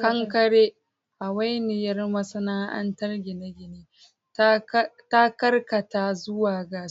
Kankare, hawainiyar masana'antar gine-gine, ta karkata zuwa ga